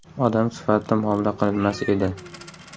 Odam sifatida muomala qilinmas edi.